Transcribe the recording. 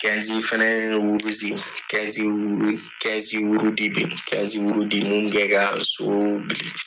fana bɛ yen mun bɛ ka so